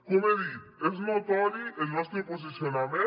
com he dit és notori el nostre posicionament